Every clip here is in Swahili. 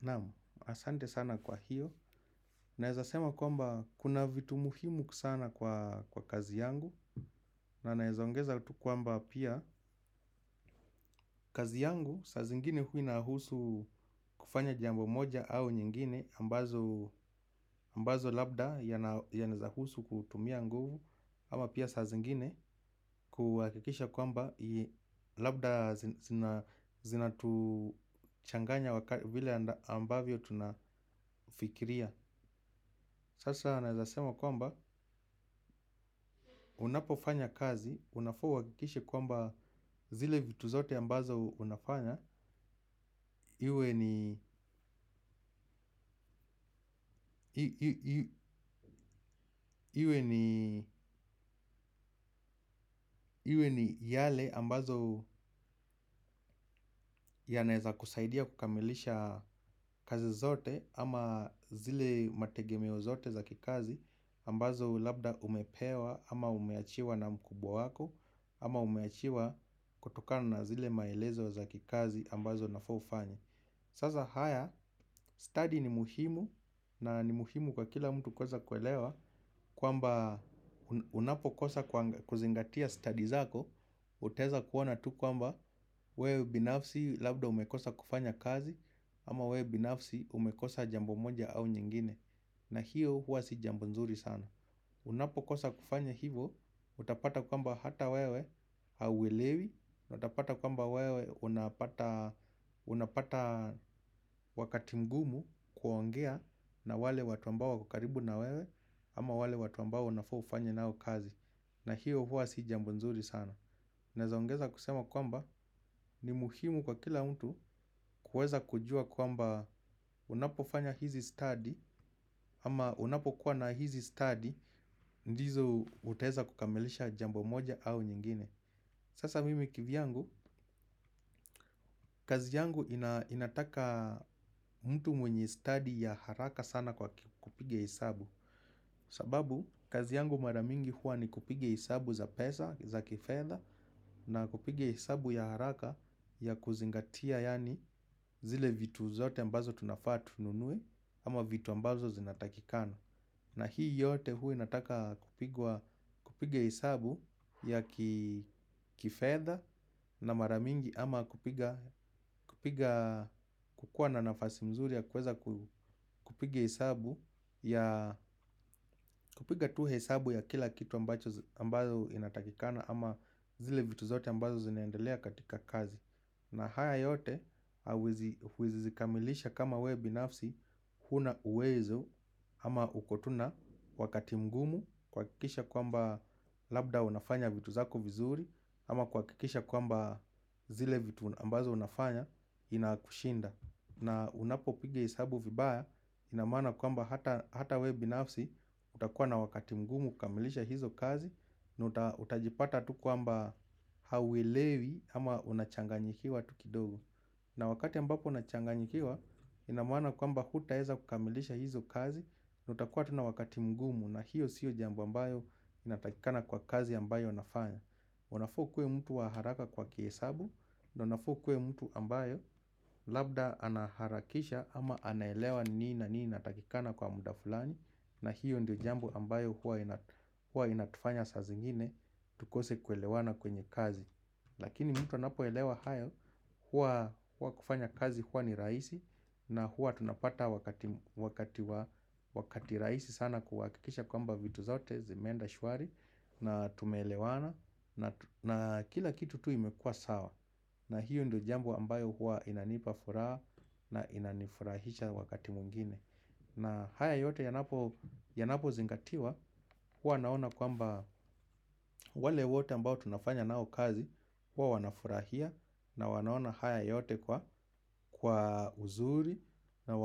Naam, asante sana kwa hiyo, naeza sema kwamba kuna vitu muhimu sana kwa kazi yangu na naeza ongeza tu kwamba pia kazi yangu, saa zingine hua inahusu kufanya jambo moja au nyingine ambazo labda yanahusu kutumia nguvu. Ama pia saa zingine kuhakikisha kwamba labda zinatuchanganya wakati vile ambavyo tunafikiria. Sasa naeza sema kwamba unapofanya kazi, unafaa uhakikishe kwamba zile vitu zote ambazo unafanya iwe ni yale ambazo yanaeza kusaidia kukamilisha kazi zote ama zile mategemeo zote za kikazi ambazo labda umepewa ama umeachiwa na mkubwa wako ama umeachiwa kutokana na zile maelezo za kikazi ambazo unafaa ufanye. Sasa haya, stadi ni muhimu na ni muhimu kwa kila mtu kwanza kuelewa kwamba unapokosa kuzingatia stadi zako. Utaeza kuona tu kwamba wewe binafsi labda umekosa kufanya kazi. Ama wewe binafsi umekosa jambo moja au nyingine. Na hiyo huwa si jambo nzuri sana. Unapokosa kufanya hivo, utapata kwamba hata wewe hauwelewi na utapata kwamba wewe unapata wakati mgumu kuongea na wale watu ambao wako karibu na wewe. Ama wale watu ambao unafaa ufanye nao kazi. Na hiyo huwa si jambo nzuri sana. Naeza ongeza kusema kwamba ni muhimu kwa kila mtu kuweza kujua kwamba unapofanya hizi stadi. Ama unapokuwa na hizi stadi ndizo utaweza kukamilisha jambo moja au nyingine. Sasa mimi kivyangu, kazi yangu inataka mtu mwenye stadi ya haraka sana kwa kupiga hesabu. Sababu, kazi yangu mara mingi huwa ni kupiga hesabu za pesa, za kifedha. Na kupiga hesabu ya haraka ya kuzingatia yaani zile vitu zote ambazo tunafaa tununue. Ama vitu ambazo zinatakika. Na hii yote hua inataka kupiga hesabu ya kifedha na mara mingi ama kupiga kuwa na nafasi nzuri ya kuweza kupiga hesabu ya kupiga tu hesabu ya kila kitu ambacho inatakikana ama zile vitu zote ambazo zinaendelea katika kazi. Na haya yote hauezi kamilisha kama wewe binafsi hauna uwezo ama uko tu na wakati mgumu kuhakikisha kwamba labda unafanya vitu zako vizuri ama kuhakikisha kwamba zile vitu ambazo unafanya inakushinda. Na unapopiga hesabu vibaya ina maana kwamba hata wewe binafsi utakuwa na wakati mgumu kukamilisha hizo kazi. Na utajipata tu kwamba hauelewi ama unachanganyikiwa tu kidogo. Na wakati ambapo unachanganyikiwa ina maana kwamba hutaeza kukamilisha hizo kazi. Na utakuwa tu na wakati mgumu na hiyo sio jambo ambayo inatakikana kwa kazi ambayo nafanya. Unafaa ukue mtu wa haraka kwa kihesabu na unafaa ukuwe mtu ambayo labda anaharakisha ama anaelewa ni na nini inatakikana kwa muda fulani. Na hiyo ndio jambo ambayo huwa inatufanya saa zingine tukose kuelewana kwenye kazi. Lakini mtu anapoelewa hayo huwa kufanya kazi huwa ni rahisi na huwa tunapata wakati rahisi sana kuhakikisha kwamba vitu zote zimeenda shwari. Na tumelewana na kila kitu tu imekua sawa. Na hiyo ndio jambo ambayo hua inanipa furaha na inanifurahisha wakati mwingine na haya yote yanapozingatiwa hua naona kwamba wale wote ambao tunafanya nao kazi. Huwa wanafurahia na wanaona haya yote kwa uzuri na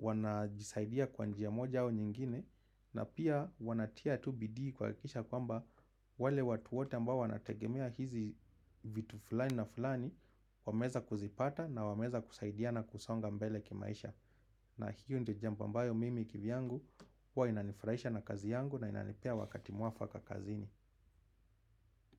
wanajisaidia kwa njia moja au nyingine. Na pia wanatia tu bidii kuhakikisha kwamba wale watu wote ambao wanategemea hizi vitu fulani na fulani. Wameweza kuzipata na wameza kusaidiana kusonga mbele kimaisha. Na hiyo ndio jambo ambayo mimi kivyangu huwa inanifurahisha na kazi yangu na inanipea wakati mwafaka kazini.